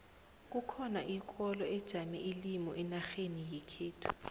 kukhona ikoro ijame ilimi enarheni yekhethu